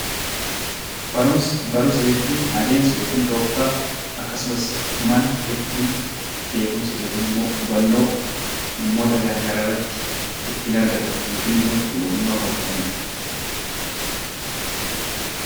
Barumsa jechuun adeemsa yookiin tooftaa akkasumas mala ittiin beekkumsa fi hubannoo ittiin argatanidha.